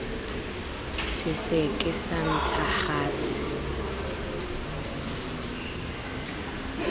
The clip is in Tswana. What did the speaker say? se seke sa ntsha gase